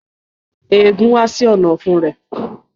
Ẹgún ha sí Ọ̀nà-ọ̀fun rẹ